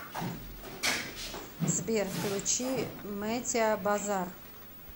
сбер включи мэтиа базар